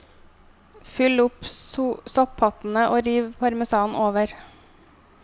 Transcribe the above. Fyll opp sopphattene og riv parmesan over.